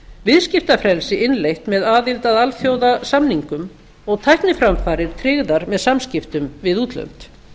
viðskiptafrelsi innleitt með aðild að alþjóðasamningum og tækniframfarir tryggðar með samskiptum við útlönd